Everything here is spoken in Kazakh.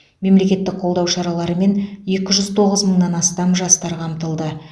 мемлекеттік қолдау шараларымен екі жүз тоғыз мыңнан астам жастар қамтылды